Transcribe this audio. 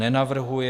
Nenavrhuje.